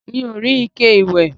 mi ò rí ike ìwẹ̀